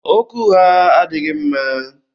Okwu ụgha adịghị mma.